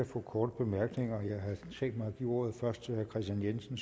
få korte bemærkninger jeg havde tænkt mig først at give ordet til herre kristian jensen